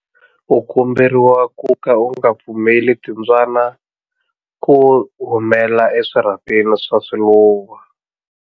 U komberiwa ku ka u nga pfumeleli timbyana ku humela eswirhapeni swa swiluva.